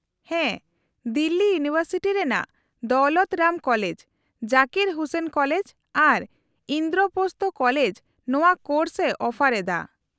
-ᱦᱮᱸ, ᱫᱤᱞᱞᱤ ᱤᱭᱩᱱᱤᱵᱷᱟᱨᱥᱤᱴᱤ ᱨᱮᱱᱟᱜ Daulat Ram college , Zakir Hussain college ᱟᱨ ᱤᱱᱫᱨᱳᱯᱚᱥᱛᱷᱚ ᱠᱚᱞᱮᱡ ᱱᱚᱶᱟ ᱠᱳᱨᱥ ᱮ ᱚᱯᱷᱟᱨ ᱮᱫᱟ ᱾